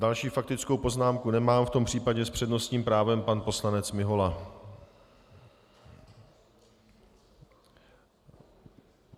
Další faktickou poznámku nemám, v tom případě s přednostním právem pan poslanec Mihola.